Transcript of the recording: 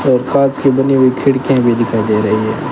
और कांच की बनी हुई खिड़कियां भी दिखाई दे रही है।